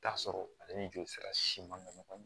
Taa sɔrɔ ale ni joli sira siman nɔgɔma